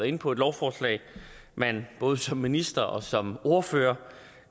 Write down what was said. inde på et lovforslag man både som minister og som ordfører